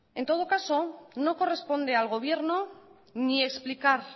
en todo caso no corresponde al gobierno ni explicar